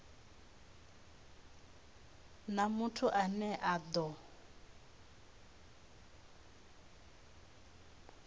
na muthu ane a do